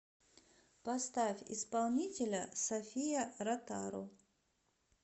поставь исполнителя софия ротару